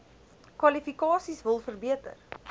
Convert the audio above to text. kwalifikasies wil verbeter